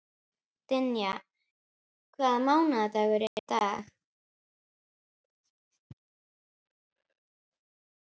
Dynja, hvaða mánaðardagur er í dag?